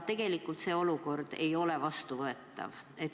Selline olukord ei ole vastuvõetav.